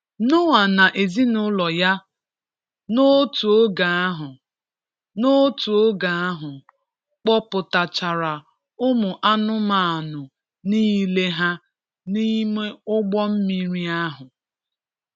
Noa na ezinụlọ ya, n’otu oge ahụ, n’otu oge ahụ, kpoputachara ụmụ anụmanụ niile ha n’ime ụgbọ mmiri ahụ.